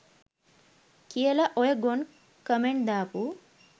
කියල ඔය ගොන් කමෙන්ඩ් දාපු